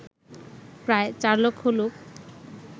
প্রায় ৪ লক্ষ লোক